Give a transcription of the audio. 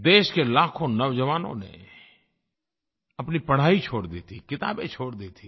देश के लाखों नौजवानों ने अपनी पढ़ाई छोड़ दी थी किताबें छोड़ दी थीं